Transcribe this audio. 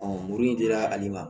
muru in dira ale ma